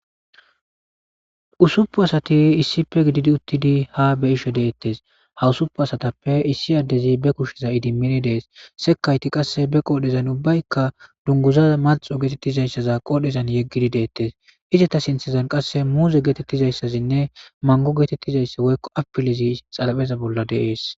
Usuppu asati issife gididi uttidi ha be ishe deettes hawusupu asatappe issi addezi be kushsheza idimini dees sekayti qasse be qoodhezan ubbaykka dunguza malxo geetettizayssaza qoodhezan yeggidi deettes izeta sinthezan qasse muuze geetettizayssazinne mango geetettizaysse woykko apilezi xalapheza bolla deees.